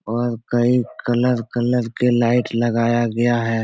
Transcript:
और कई colour - colour के लाइट लगाया गया है।